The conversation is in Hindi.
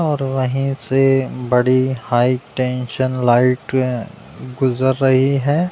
और वहीं से बड़ी हाई टेंशन लाइटें गुजर रही हैं।